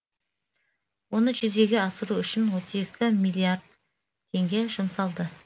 оны жүзеге асыру үшін отыз екі миллиард теңге жұмсалды